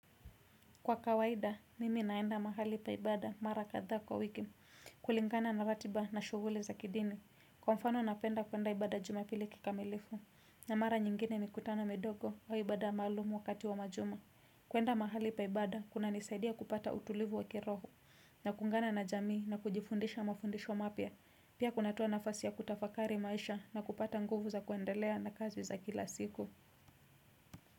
Kwa kawaida, mimi naenda mahali pa ibada mara kadhaa kwa wiki, kulingana na ratiba na shughuli za kidini, kwa mfano napenda kuenda ibada jumapili kikamilifu, na mara nyingine mikutano midogo wa ibada maalumu wakati wa majuma. Kuenda mahali pa ibada, kunanisaidia kupata utulivu wa kiroho, na kuungana na jamii na kujifundisha mafundisho mapya, pia kunatoa nafasi ya kutafakari maisha na kupata nguvu za kuendelea na kazi za kila siku.